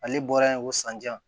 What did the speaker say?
Ale bɔra yen ko sanjan